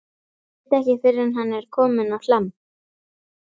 Veit ekki fyrr en hann er kominn á Hlemm.